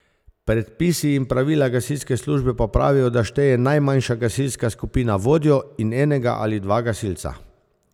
Predpisi in Pravila gasilske službe pa pravijo, da šteje najmanjša gasilska skupina vodjo in enega ali dva gasilca.